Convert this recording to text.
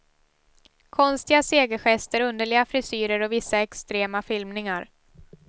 Konstiga segergester, underliga frisyrer och vissa extrema filmningar.